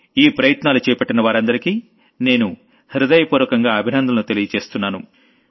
ఈ ప్రయత్నాలు చేపట్టిన వారందరికీ నేను హృదయపూర్వకంగా అభినందనలు తెలుపుతున్నాను